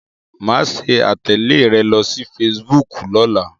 Màá ṣe àtẹ̀lé rẹ lórí fesibúùkù lọ́la.